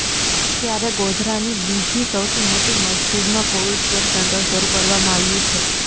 ત્યારે ગોધરાની બીજી સૌથી મોટી મસ્જિદમાં કોવિડ કેર સેન્ટર શરૂ કરવામાં આવ્યું છે